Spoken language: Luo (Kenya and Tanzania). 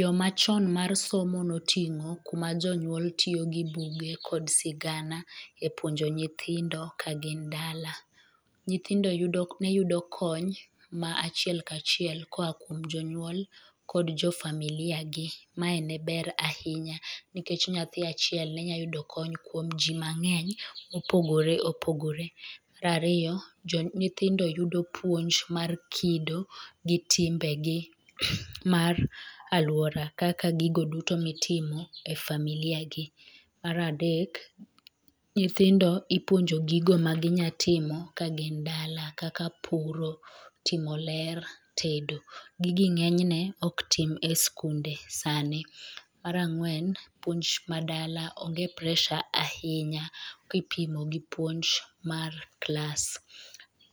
Yo machon mar somo noting'o kuma jonyuol tiyogi buge kod sigana e puonjo nyithindo kagin dala. Nyithindo neyudo kony ma achiel kachiel koya kuom jonyuol kod jofamilia gi, mae neber ahinya nikech nyathi achiel nenya yudo kony kuom jii mang'eny mopogore opogore. Mar ariyo, nyithindo yudo puonj mar kido gi timbegi mar aluora kaka gigo duto mitimo e familiagi. Mar adek, nyithindo ipuonjo gigo maginyatimo kagin dala kaka puro, timo ler, tedo, gigi ng'enyne oktim e skunde sani. Mar ang'wen, puonj ma dala onge pressure ahinya kipimo gi puonj mar class.